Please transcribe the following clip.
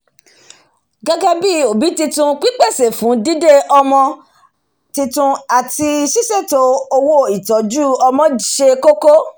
gégé bí òbí titun pípèsè fún dídé ọmọ titun àti sísètò owóìtójú ọmọ se kókó